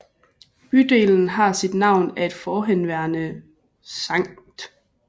Bydelen har sit navn af et forhenværende Skt